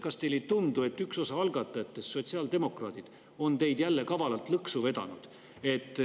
Kas teile ei tundu, et üks osa algatajatest, sotsiaaldemokraadid, on teid jälle kavalalt lõksu vedanud?